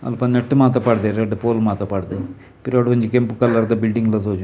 ಅಲ್ಪ ನೆಟ್ಟ್ ಮಾತ ಪಾಡ್ಡೆರ್ ರಡ್ಡ್ ಪೋಲ್ ಮಾತ ಪಾಡ್ಡೆರ್ ಪಿರವುಡು ಒಂಜಿ ಕೆಂಪು ಕಲರ್ದ ದ ಬಿಲ್ಡಿಂಗ್ ಲ ತೋಜುಂಡು.